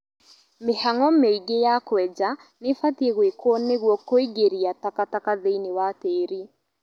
mĩhang'o mĩingĩ ya kwenja nĩbatie gwĩkwo nĩguo kũingĩria takataka thĩinĩ wa tĩri